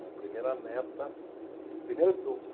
A primeira neta, primeira o